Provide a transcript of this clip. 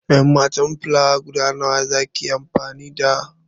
En matan filawa guda nawa za ki yi amfani da?